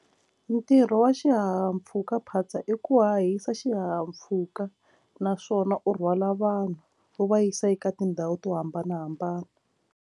Ntirho wa xihahampfhukaphatsa i ku hahisa xihahampfhuka naswona u rhwala vanhu wu va yisa eka tindhawu to hambanahambana.